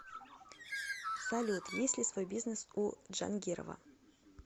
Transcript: салют есть ли свой бизнес у джангирова